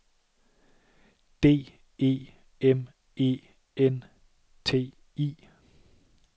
D E M E N T I